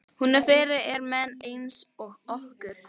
Hún er fyrir menn einsog okkur.